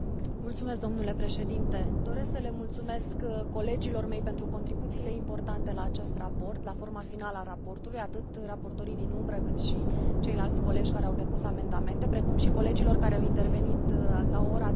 Doresc să le mulțumesc colegilor mei pentru contribuțiile importante la acest raport, la forma finală a raportului, atât raportorii din umbră, cât și ceilalți colegi care au depus amendamente, precum și colegilor care au intervenit la o oră atât de înaintată în plen.